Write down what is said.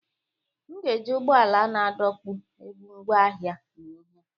M ga-eji ụgbọala na-adọkpụ ebu ngwaahia na ihe.